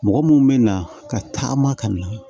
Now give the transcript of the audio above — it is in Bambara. Mɔgɔ mun bɛ na ka taama ka na